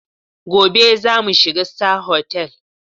Gobe za mu shiga Star Hotel.